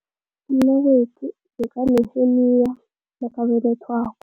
Umnakwethu bekaneheniya nakabelethwako.